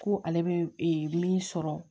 Ko ale bɛ min sɔrɔ